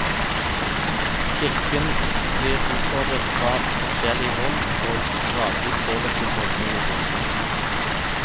Kirken blir utfordret fra forskjellig hold, og gradvis påvirkes holdningene i samfunnet.